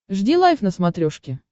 жди лайв на смотрешке